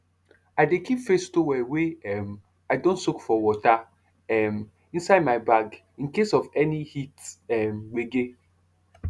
i dey keep face towel wey um i don soak for water um inside my bag in case of any heat um gbege